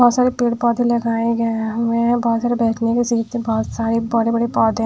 बहोत सारे पेड़ पौधे लगाए गए हुएं हैं बहोत सारे बैठने के बहोत सारे बड़े बड़े पौधे--